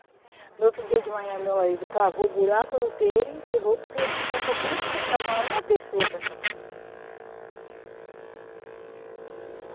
No outro dia de manhã, meu marido cavou buraco no terreiro e enterrou, porque não tinha por quem você chamar uma pessoa para chamar.